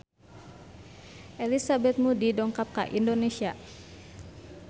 Elizabeth Moody dongkap ka Indonesia